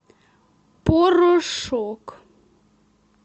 порошок